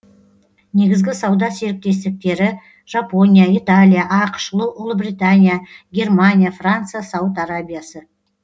негізгі сауда серіктестіктері жапония италия ақш ұлыбритания германия франция сауд арабиясы